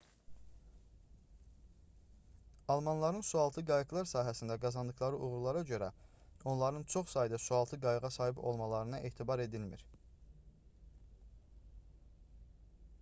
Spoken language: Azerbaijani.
almanların sualtı qayıqlar sahəsində qazandıqları uğurlara görə onların çox sayda sualtı qayığa sahib olmalarına etibar edilmir